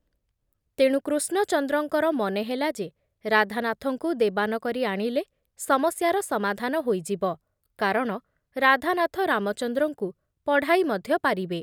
ତେଣୁ କୃଷ୍ଣଚନ୍ଦ୍ରଙ୍କର ମନେ ହେଲା ଯେ ରାଧାନାଥଙ୍କୁ ଦେବାନ କରି ଆଣିଲେ ସମସ୍ୟାର ସମାଧାନ ହୋଇଯିବ କାରଣ ରାଧାନାଥ ରାମଚନ୍ଦ୍ରଙ୍କୁ ପଢ଼ାଇ ମଧ୍ୟ ପାରିବେ ।